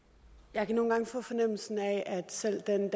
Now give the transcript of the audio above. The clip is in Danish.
jeg kan nogle gange få fornemmelsen af at selv den